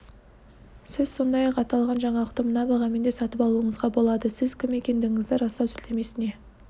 сіз сондай-ақ аталған жаңалықты мына бағамен де сатып алуыңызға болады сіз кім екендігіңізді растау сілтемесіне